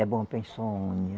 É bom para insônia.